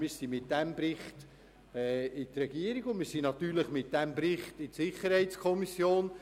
Wir haben diesen Bericht der Regierung sowie auch der SiK vorgelegt.